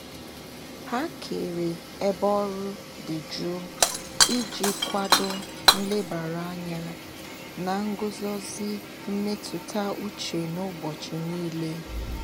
Ha kere ebe ọrụ dị jụụ iji kwado nlebara anya na nguzozi mmetụta uche n'ụbọchị niile.